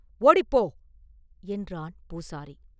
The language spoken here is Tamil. ஓடிப் போ!” என்றான் பூசாரி.